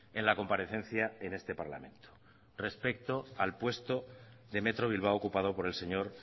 en la comparecencia en este parlamento respecto al puesto de metro bilbao ocupado por el señor